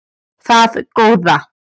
Það góða